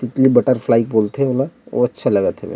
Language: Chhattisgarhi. तितली बटरफ्लाई बोलथे ओला और अच्छा लगा थे।